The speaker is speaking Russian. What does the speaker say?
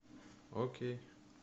окей